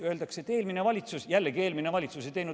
Öeldakse, et eelmine valitsus – jälle eelmine valitsus!